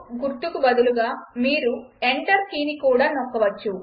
గుర్తుకు బదులుగా మీరు ఎంటర్ కీని కూడా నొక్కవచ్చు